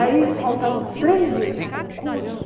Aí faltavam três dias para o concurso.